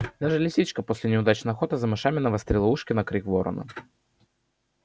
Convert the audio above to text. и даже лисичка после неудачной охоты за мышами навострила ушки на крик ворона